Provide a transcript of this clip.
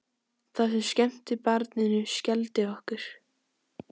Það sem skemmti barninu skelfdi okkur.